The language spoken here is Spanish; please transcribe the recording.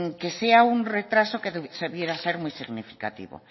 que sea un retraso que se debiera ser muy significativo